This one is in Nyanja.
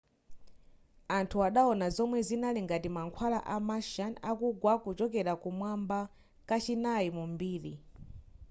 anthu adawona zomwe zinali ngati mankhwala a martian akugwa kuchokera kumwamba kachinayi mu mbiri